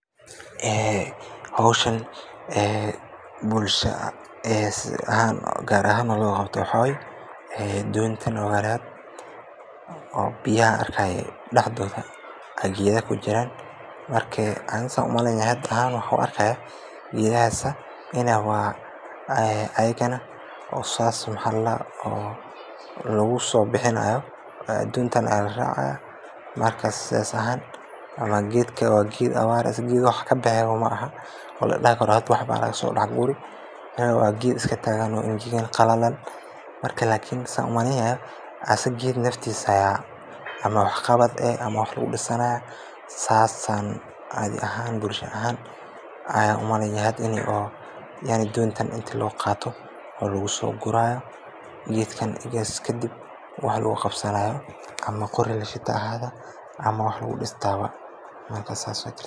Howshan bulsha ahaan loo qabto doonta biyaha dexdooda ayaa geeda kujiraan, geedahaas in saas lagu soo bixinaaya, waa geed qalalan oo iska taagan, marka saan umaleynaya geedka naftiisa ayaa wax qabad leh oo wax lagu disaaya saas ayaa caada ahaan bulsho ahaan ayaan umakeya, in doonta loo qaato lagu soo guraayo, ama wax lagu distaaba.